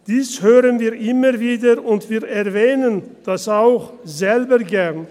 Dies hören wir immer wieder und wir erwähnen das auch selber gern.